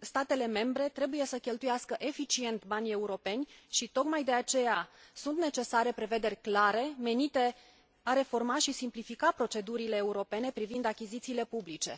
statele membre trebuie să cheltuiască eficient banii europeni și tocmai de aceea sunt necesare prevederi clare, menite a reforma și simplifica procedurile europene privind achizițiile publice.